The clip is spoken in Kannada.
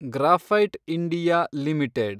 graphite India limited